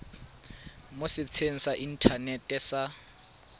mo setsheng sa inthanete sa